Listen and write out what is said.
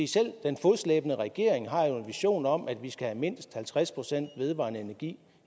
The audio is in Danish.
selv den fodslæbende regering har jo en vision om at vi skal have mindst halvtreds procent vedvarende energi